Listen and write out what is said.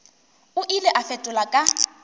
o ile a fetola ka